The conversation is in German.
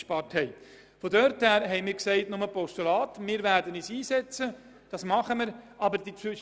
Deshalb hat der Regierungsrat beschlossen, diese Motion nur als Postulat anzunehmen.